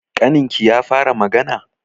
Ƙaninki ya fara magana?